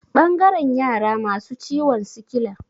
Ɓangaren yara masu ciwon sikila.